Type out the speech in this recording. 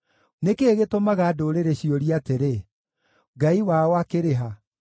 Nĩ kĩĩ gĩtũmaga ndũrĩrĩ ciũrie atĩrĩ, “Ngai wao akĩrĩ ha?”